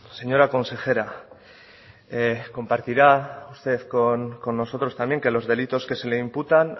señora consejera compartirá usted con nosotros también que los delitos que se le imputan